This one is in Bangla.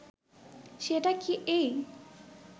সেটা কি এই